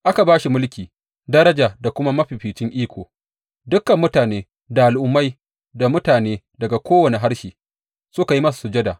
Aka ba shi mulki, daraja da kuma mafificin iko; dukan mutane, da al’ummai, da mutane daga kowane harshe suka yi masa sujada.